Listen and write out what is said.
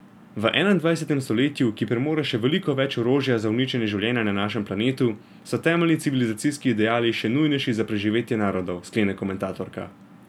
V enaindvajsetem stoletju, ki premore še veliko več orožja za uničenje življenja na našem planetu, so temeljni civilizacijski ideali še nujnejši za preživetje narodov, sklene komentatorka.